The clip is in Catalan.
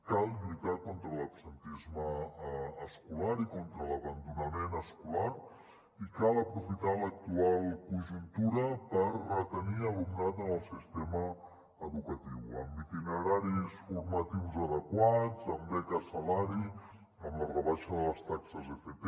cal lluitar contra l’absentisme escolar i contra l’abandonament escolar i cal aprofitar l’actual conjuntura per retenir alumnat en el sistema educatiu amb itineraris formatius adequats amb beques salari amb la rebaixa de les taxes d’fp